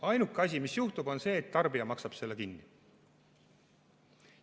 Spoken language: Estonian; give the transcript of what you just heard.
Ainuke asi, mis juhtub, on see, et tarbija maksab selle kinni.